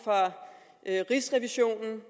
jeg rigsrevisionen